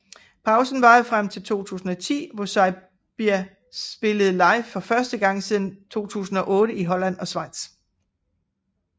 Pausen varede frem til 2010 hvor Saybia spillede live før første gang siden 2008 i Holland og Schweiz